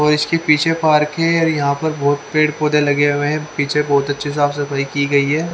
और इसके पीछे पार्क है और यहा पर बहुत पेड़ पौधे लगे हुए है पीछे बहुत अच्छी साफ सफाई की गई है।